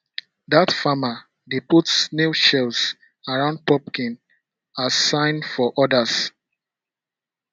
dat farmer dey put snail shells around pumpkin as sign for others